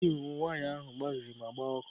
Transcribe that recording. Riklin waya ahụ gbabiri ma gbaa ọkụ.